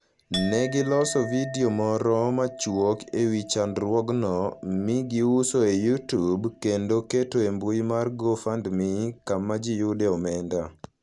Ne giloso vidio moro machuok e wi chandruogno, mi giuso e YouTube, kendo keto e mbui mar GoFundMe kama ji yudoe omenda.